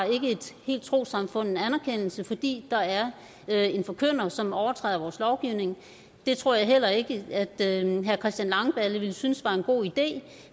et helt trossamfund en anerkendelse fordi der er er en forkynder som har overtrådt vores lovgivning det tror jeg heller ikke at herre christian langballe ville synes var en god idé